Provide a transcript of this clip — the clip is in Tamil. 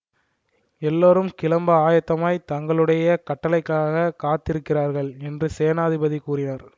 எல்லோரும் கிளம்ப ஆயத்தமாய்த் தங்களுடைய கட்டளைக்காகக் காத்திருக்கிறார்கள் என்று சேனாதிபதி கூறினார்